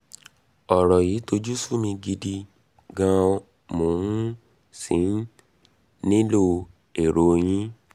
ọ̀rọ̀ yìí tojú sú mi gidi um gan mo um sì nílò èrò yín